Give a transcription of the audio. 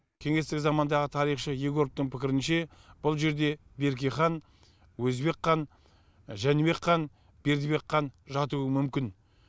кеңестік замандағы тарихшы егоровтың пікірінше бұл жерде берке хан өзбек хан жәнібек хан бердібек хан жатуы мүмкін